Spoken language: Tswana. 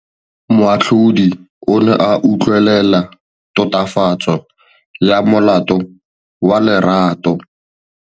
Moatlhodi o ne a utlwelela tatofatsô ya molato wa Lerato.